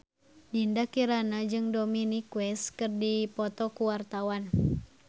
Dinda Kirana jeung Dominic West keur dipoto ku wartawan